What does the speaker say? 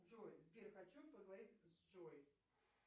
джой сбер хочу поговорить с джой